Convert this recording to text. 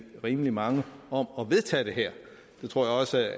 rimelig mange om at vedtage det her det tror jeg også